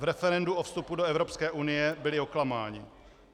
V referendu o vstupu do Evropské unie byli oklamáni.